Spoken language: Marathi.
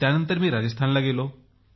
त्यानंतर मी राजस्थानला गेलो